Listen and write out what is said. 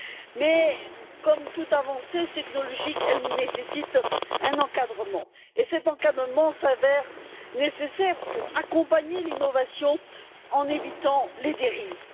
Mais, comme toute avancée technologique, elle nécessite un encadrement et cet encadrement s'avère nécessaire pour accompagner l'innovation en évitant les dérives.